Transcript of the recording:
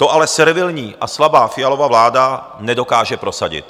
To ale servilní a slabá Fialova vláda nedokáže prosadit.